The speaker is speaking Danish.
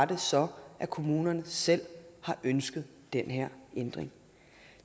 det så at kommunerne selv har ønsket den her ændring